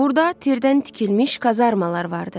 Burada tirdən tikilmiş kazarmalar vardı.